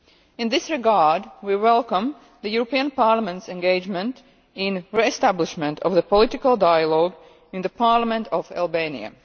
In this regard, we welcome the European Parliament's engagement in the re establishment of the political dialogue in the parliament of Albania.